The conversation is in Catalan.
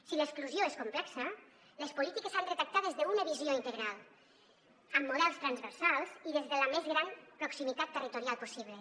si l’exclusió és complexa les polítiques s’han de tractar des d’una visió integral amb models transversals i des de la més gran proximitat territorial possible